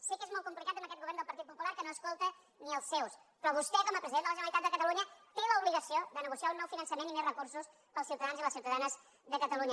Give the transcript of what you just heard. sé que és molt complicat amb aquest govern del partit popular que no escolta ni els seus però vostè com a president de la generalitat de catalunya té l’obligació de negociar un nou finançament i més recursos per als ciutadans i les ciutadanes de catalunya